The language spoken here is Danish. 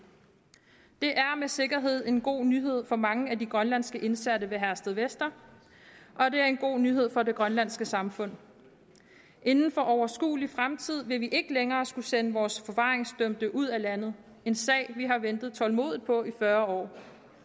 det er med sikkerhed en god nyhed for mange af de grønlandske indsatte ved herstedvester og det er en god nyhed for det grønlandske samfund inden for overskuelig fremtid vil vi ikke længere skulle sende vores forvaringsdømte ud af landet en sag vi har ventet tålmodigt på i fyrre år